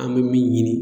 An bɛ min ɲini